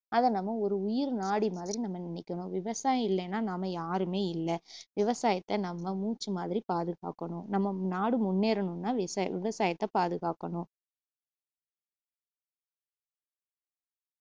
அதை நம்ம ஒரு உயிர் நாடி மாதிரி நம்ம நினைக்கணும் விவசாயம் இல்லன்னா நாம யாருமே இல்ல விவசாயத்த நம்ம மூச்சுமாதிரி பாதுகாக்கணும் நம்ம ம்~ நாடு முன்னேறணுன்னா விச~விவசாயத்த பாதுகாக்கணும்